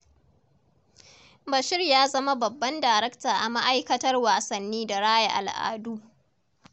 Bashir ya zama Babban Darakta a Ma'aiktar Wasanni da Raya Al'adu.